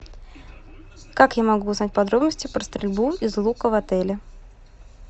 как я могу узнать подробности про стрельбу из лука в отеле